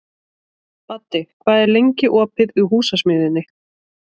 Baddi, hvað er lengi opið í Húsasmiðjunni?